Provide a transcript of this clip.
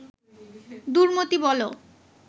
দুর্মতি বলো